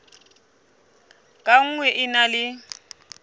ka nngwe e na le